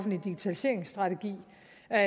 er